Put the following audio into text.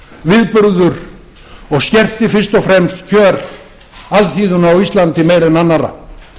viðburður og skerti fyrst og fremst kjör alþýðunnar á íslandi meira en annarra